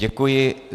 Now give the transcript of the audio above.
Děkuji.